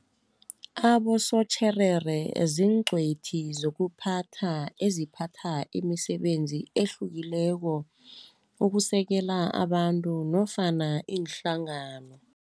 Abosotjherere ziincwethi zokuphatha, eziphatha imisebenzi ehlukileko ukusekela abantu nofana inhlangano.